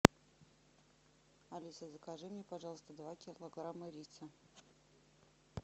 алиса закажи мне пожалуйста два килограмма риса